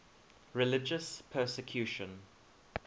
religious persecution